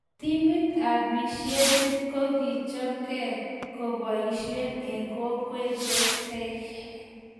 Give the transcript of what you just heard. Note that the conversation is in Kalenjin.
Timit ab misienit kokichopke ko kepoisie eng kokwet ne tetekei